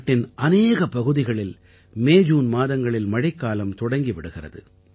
நாட்டின் அநேக பகுதிகளில் மேஜூன் மாதங்களில் மழைக் காலம் தொடங்கி விடுகிறது